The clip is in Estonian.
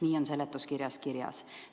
Nii on seletuskirjas kirjas.